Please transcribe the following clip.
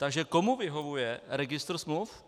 Takže komu vyhovuje registr smluv?